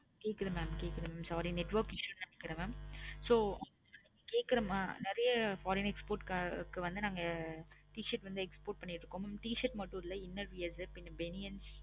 கேட்குது mam கேட்குது sorry network issue நினைக்குறே mam so நெறைய foreign export க்கு வந்து நாங்க t-shirt வந்து export பண்ணி இருக்கோம். t-shirt மட்டும் இல்ல inner wears பணியன்ஸ்